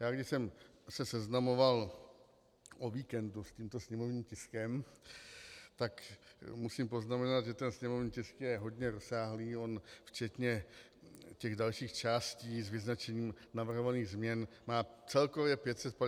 Já když jsem se seznamoval o víkendu s tímto sněmovním tiskem, tak musím poznamenat, že ten sněmovní tisk je hodně rozsáhlý, on včetně těch dalších částí s vyznačením navrhovaných změn má celkově 550 stran.